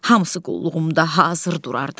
Hamısı qulluğumda hazır durardı.